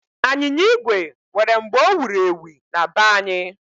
Anyịnya igwe nwere mgbe o wuru ewu na be anyị.